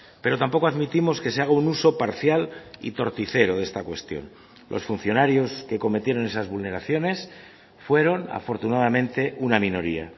pero tampoco admitimos que se haga un uso parcial y torticero de esta cuestión los funcionarios que cometieron esas vulneraciones fueron afortunadamente una minoría